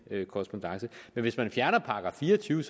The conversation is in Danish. korrespondance men hvis man fjerner § fire og tyve